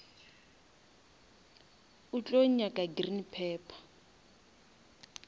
o tlo nyaka green pepper